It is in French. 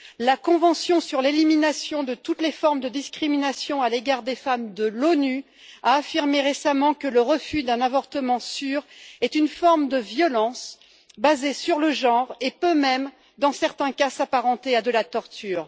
La convention de l'ONU sur l'élimination de toutes les formes de discrimination à l'égard des femmes a affirmé récemment que le refus d'un avortement sûr est une forme de violence basée sur le genre et peut même, dans certains cas, s'apparenter à de la torture.